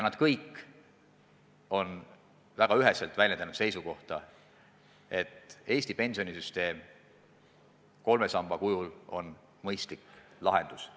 Nad kõik on väga üheselt väljendanud seisukohta, et Eesti pensionisüsteem kolme samba kujul on mõistlik lahendus.